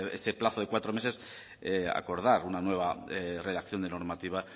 ese plazo de cuatro meses acordar una nueva redacción de normativa